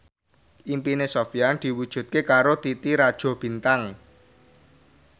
impine Sofyan diwujudke karo Titi Rajo Bintang